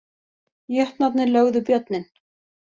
Jötnarnir lögðu Björninn